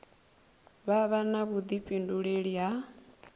vha vha na vhuḓifhinduleli ha